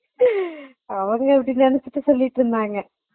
Laugh அவங்க அப்பிடி நினச்சிட்டு சொல்லிட்டு இருந்தாங்க